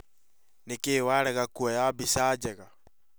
Nĩkĩ warega kuoya mbica njega